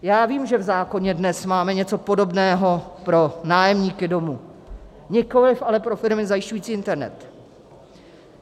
Já vím, že v zákoně dnes máme něco podobného pro nájemníky domu, nikoliv ale pro firmy zajišťující internet.